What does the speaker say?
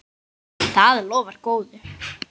Það lofar góðu.